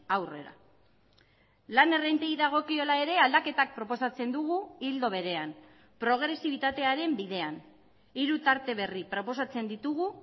aurrera lan errentei dagokiola ere aldaketak proposatzen dugu ildo berean progresibitatearen bidean hiru tarte berri proposatzen ditugu